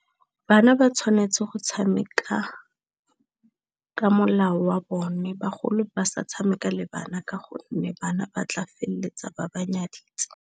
Bana ba tshwanetse go tshameka ka molao wa bone, bagolo ba sa tshameka le bana ka gonne bana ba tla feleletsa ba ba nyaditse.